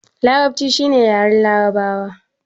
Larabci shi ne yaren larabawa